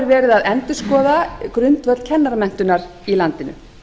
er verið að endurskoða grundvöll kennaramenntunar í landinu